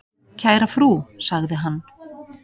"""Kæra frú, sagði hann."""